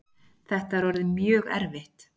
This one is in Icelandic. Þetta er orðið mjög erfitt